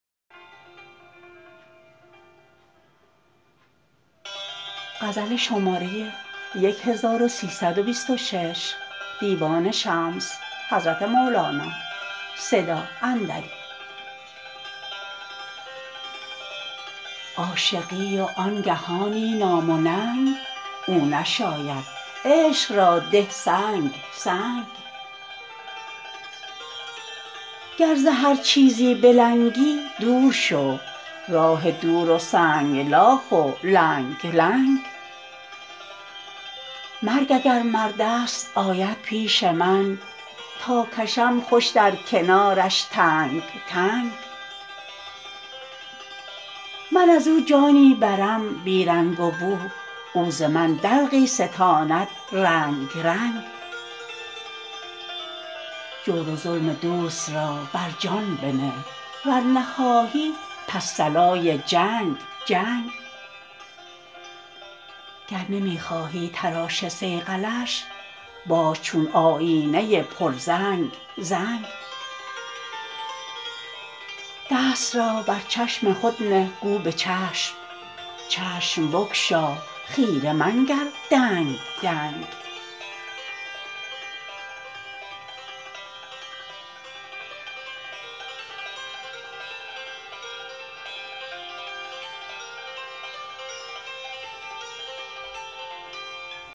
عاشقی و آن گهانی نام و ننگ او نشاید عشق را ده سنگ سنگ گر ز هر چیزی بلنگی دور شو راه دور و سنگلاخ و لنگ لنگ مرگ اگر مرد است آید پیش من تا کشم خوش در کنارش تنگ تنگ من از او جانی برم بی رنگ و بو او ز من دلقی ستاند رنگ رنگ جور و ظلم دوست را بر جان بنه ور نخواهی پس صلای جنگ جنگ گر نمی خواهی تراش صیقلش باش چون آیینه ی پرزنگ زنگ دست را بر چشم خود نه گو به چشم چشم بگشا خیره منگر دنگ دنگ